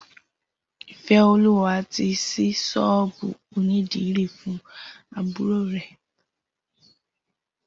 Ifeoluwa ti ṣí ṣọ́ọ̀bù ónìdìrí fùn àbùró rè